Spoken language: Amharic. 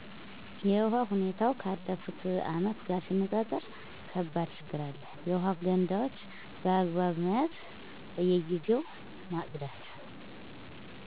የውሃ ሁኔታው ካለፍቱ ዓመት ጋር ሲነፃፀር ከባድ ችግር አለ። የውሃ ገንዳዎች በአግባብ መያዝ በየግዜው ማፅዳት